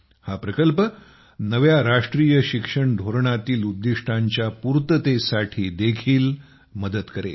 हा प्रकल्प नव्या राष्ट्रीय शिक्षण धोरणातील उद्दिष्टांच्या पूर्ततेसाठी देखील मदत करेल